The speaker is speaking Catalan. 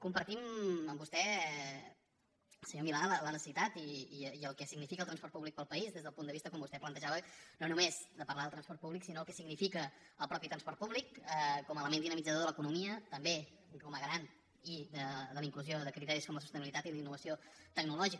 compartim amb vostè senyor milà la necessitat i el que significa el transport públic per al país des del punt de vista com vostè plantejava no només de parlar del transport públic sinó del que significa el mateix transport públic com a element dinamitzador de l’economia també com a garant de la inclusió de criteris com la sostenibilitat i la innovació tecnològica